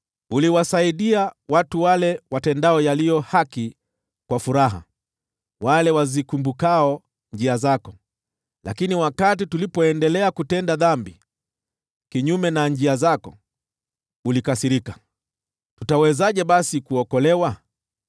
Uliwasaidia watu wale watendao yaliyo haki kwa furaha, wale wazikumbukao njia zako. Lakini wakati tulipoendelea kutenda dhambi kinyume na njia zako, ulikasirika. Tutawezaje basi kuokolewa?